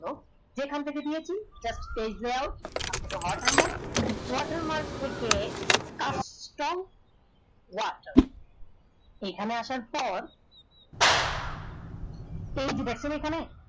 যেখান থেকে দিয়েছি page layout watermark থেকে এখানে আসার পর এই যে দেখছেন এই খানে